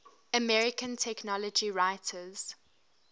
american technology writers